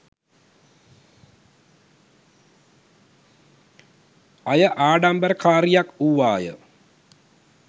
අය ආඩම්බරකාරියක් වුවාය